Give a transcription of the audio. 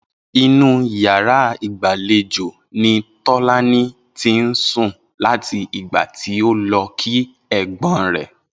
Inú yàrá ìgbàlejò ní Tó̩lání ti ń sùn láti ìgbà tí ó lo̩ kí è̩gbó̩n rè̩